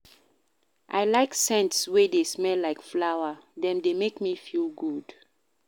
I like scents wey dey smell like flower, dem dey make me feel good.